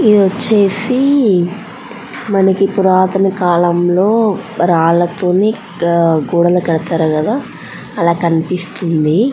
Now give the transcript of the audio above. ఇది వచ్చేసి మనకి పురాతన కాలంలో రాళ్లతోని గోడలు కడతారు కదా అలా కనిపిస్తుంది.